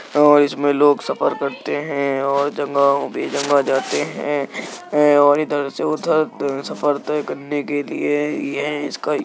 अ इसमें लोग सफर करते हें और जंगहो पे जगह जाते हैं ऐं और ये इधर से उधर सफर तय करने के लिए ये इसका --